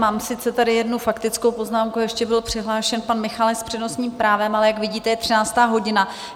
Mám sice tady jednu faktickou poznámku, ještě byl přihlášen pan Michálek s přednostním právem, ale jak vidíte, je 13. hodina.